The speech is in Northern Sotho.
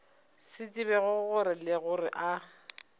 sa tsebego le gore a